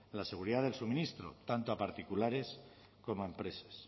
la seguridad del suministro tanto a particulares como empresas